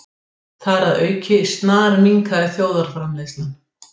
Þar að auki snarminnkaði þjóðarframleiðslan